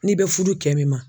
N'i bɛ fudu kɛ min ma.